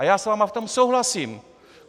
A já s vámi v tom souhlasím.